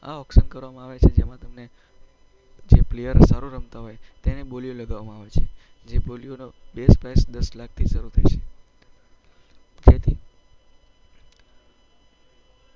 આ ઑક્શન કરવામાં આવે છે જેમાં તમને જે પ્લેયર સારું રમતાં હોય એની બોલીઓ લગાવવામાં આવે છે. જે બોલીની બેઝ પ્રાઈસ દસ લાખથી શરૂ થાય છે.